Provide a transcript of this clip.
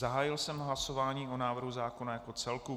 Zahájil jsem hlasování o návrhu zákona jako celku.